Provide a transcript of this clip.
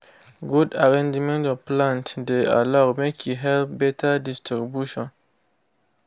good arrangement of plants de allow make e help better distribution